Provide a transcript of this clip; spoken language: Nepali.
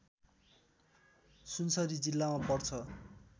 सुनसरी जिल्लामा पर्छ